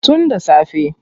Tun da safe.